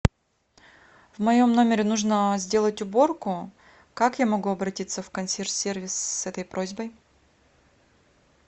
в моем номере нужно сделать уборку как я могу обратиться в консьерж сервис с этой просьбой